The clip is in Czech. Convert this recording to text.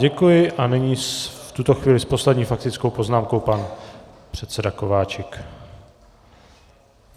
Děkuji a nyní v tuto chvíli s poslední faktickou poznámkou pan předseda Kováčik.